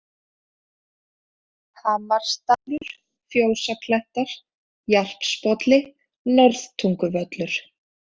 Hamarsdalur, Fjósaklettar, Jarpsbolli, Norðtunguvöllur